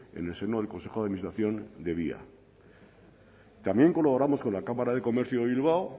en el seno del consejo de administración de via también colaboramos con la cámara de comercio de bilbao